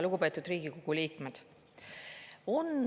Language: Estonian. Lugupeetud Riigikogu liikmed!